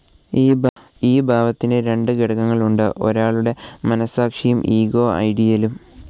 ഈ ഭാവത്തിന്ന് രണ്ട് ഘടകങ്ങളുണ്ട് ഒരാളുടെ മനസാക്ഷിയും ഇഗോ ഐഡിയലും.